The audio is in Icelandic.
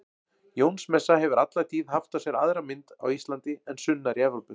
Jónsmessa hefur alla tíð haft á sér aðra mynd á Íslandi en sunnar í Evrópu.